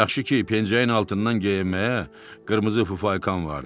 Yaxşı ki, pencəyin altından geyinməyə qırmızı fufaykam vardı.